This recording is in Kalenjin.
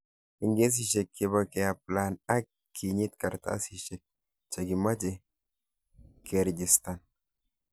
Egkesishek chebo keaplain ak kinyit karatasishek chakimache sekerijistan.